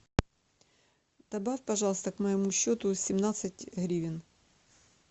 добавь пожалуйста к моему счету семнадцать гривен